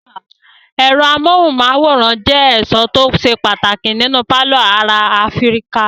Ẹ̀rọ amóhùmáwòhán jẹ́ ẹ̀sọ́ tó ṣe pàtàkì nínú pálọ̀ ará Áfíríkà.